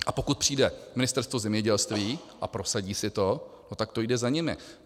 A pokud přijde Ministerstvo zemědělství a prosadí si to, no tak to jde za nimi.